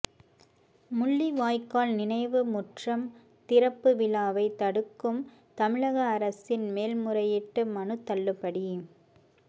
முள்ளிவாய்க்கால் நினைவு முற்றம் திறப்பு விழாவைத் தடுக்கும் தமிழக அரசின் மேல்முறையீட்டு மனு தள்ளுபடி